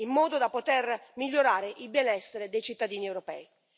in modo da poter migliorare il benessere dei cittadini europei.